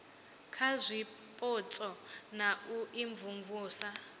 kha zwipotso na u imvumvusa